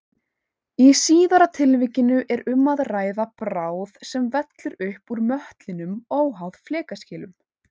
Í síðara tilvikinu er um að ræða bráð sem vellur upp úr möttlinum óháð flekaskilum.